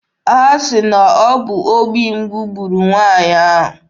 Ha sị na ọ bụ obi mgbu gburu nwaanyị ahụ.